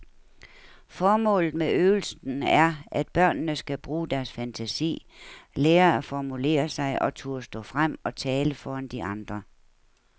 Formålet med øvelsen er, at børnene skal bruge deres fantasi, lære at formulere sig og turde stå frem og tale foran de andre.